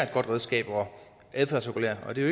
godt redskab at adfærdsregulere med det